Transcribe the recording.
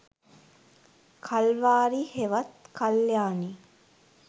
කල්වාරි හෙවත් කල්යාණි